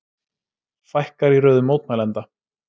Fækkar í röðum mótmælenda